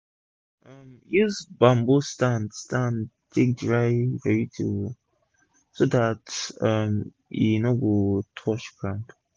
um use bamboo stand stand take dry vegetable so dat um e no go touch ground